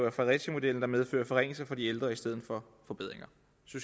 af fredericiamodellen der medfører forringelser for de ældre i stedet for forbedringer